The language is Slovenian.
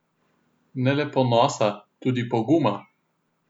Ne le ponosa, tudi poguma.